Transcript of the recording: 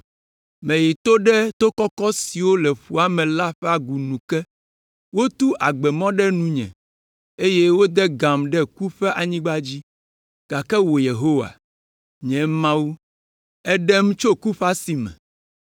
Meyi to ɖe to kɔkɔ siwo le ƒua me la ƒe agu nu ke. Wotu agbe ƒe mɔ ɖe nunye eye wode gam ɖe ku ƒe anyigba dzi. Gake wò Yehowa, nye Mawu, èɖem tso ku ƒe asi me!